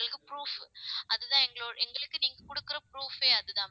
எங்களுக்கு proof அதுதான் எங்களோ~ எங்களுக்கு நீங்க கொடுக்கிற proof ஏ அதுதான் ma'am